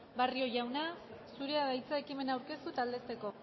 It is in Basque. barrio jauna zurea da hitza ekimena aurkeztu eta aldezteko